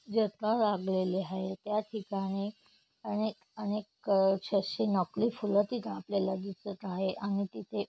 जत्रा लागलेली आहे या ठिकाणी अनेक अनेक क अशी नकली फूल तिथ आपल्याला दिसत आहे आणि तिथे --